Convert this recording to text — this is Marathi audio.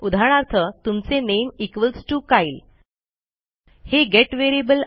उदाहरणार्थ तुमचे नामे इक्वॉल्स टीओ कायल हे गेट variableआहे